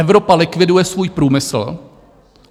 Evropa likviduje svůj průmysl.